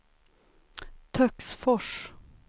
Töcksfors